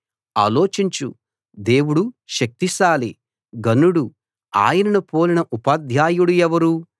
ఆలోచించు దేవుడు శక్తిశాలి ఘనుడు ఆయనను పోలిన ఉపాధ్యాయుడు ఎవరు